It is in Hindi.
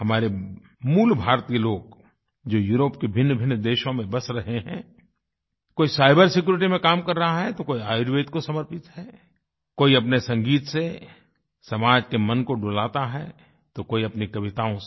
हमारे मूलभारतीय लोग जो यूरोप के भिन्नभिन्न देशों में बस रहे हैं कोई साइबर सिक्यूरिटी में काम कर रहा है तो कोई आयुर्वेद को समर्पित है कोई अपने संगीत से समाज के मन को डुलाता लाता है तो कोई अपनी कविताओं से